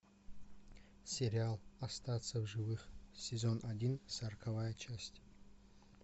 сериал остаться в живых сезон один сороковая часть